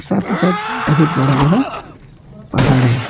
सब बहुत बड़ा बड़ा पहाड़ है।